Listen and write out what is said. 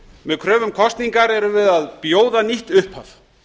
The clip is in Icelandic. með kröfu um kosningar erum við að bjóða nýtt upphaf